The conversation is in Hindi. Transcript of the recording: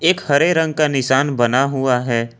एक हरे रंग का निशान बना हुआ है।